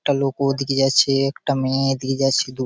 একটা লোক ওদিকে যাচ্ছে একটা মেয়ে এদিকে যাচ্ছে দু--